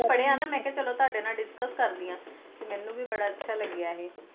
ਸੁੰਨੀਆਂ ਨਾ ਤੇ ਮੇਂ ਆਖਿਆ ਤੁਵੱਡੇ ਨਾਲ ਡਿਸਕਸ ਕਰਦੀ ਆਂ ਤੇ ਮੈਨੂੰ ਵੀ ਬੜਾ ਚੰਗਾ ਲੱਗੀਆਂ